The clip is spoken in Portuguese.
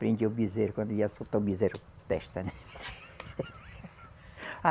Prendia o bezerro, quando ia soltar o bezerro, testa, né? Ah